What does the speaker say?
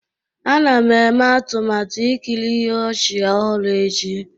A na m eme atụmatụ ikiri ihe ọchị ọhụrụ echi.